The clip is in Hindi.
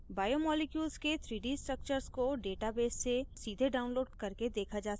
बायोमॉलिक्यूल्स के 3d structures को database से सीधे download करके देखा जा सकता है